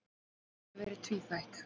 Það hafi verið tvíþætt.